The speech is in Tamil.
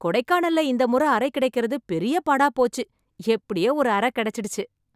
கொடைக்கானல்ல இந்த முறை அறை கிடைக்கிறது பெரிய பாடா போச்சு. எப்படியோ ஒரு அறை கிடைச்சுச்சு.